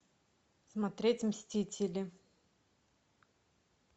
смотреть мстители